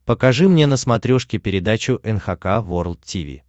покажи мне на смотрешке передачу эн эйч кей волд ти ви